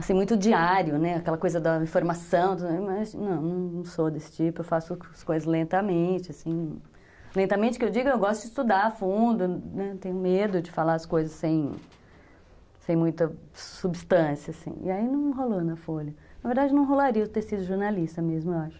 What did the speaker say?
assim, muito diário, né, aquela coisa da informação, mas não, não sou desse tipo, eu faço as coisas lentamente, assim, lentamente que eu digo, eu gosto de estudar a fundo, né, tenho medo de falar as coisas sem muita substância, assim, e aí não rolou na Folha, na verdade não rolaria eu ter sido jornalista mesmo, eu acho.